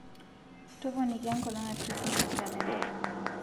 toponiki enkolong e krismas kalenda